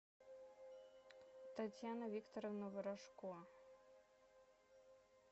татьяна викторовна ворожко